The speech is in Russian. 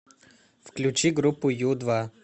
включи группу ю два